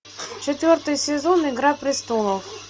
четвертый сезон игра престолов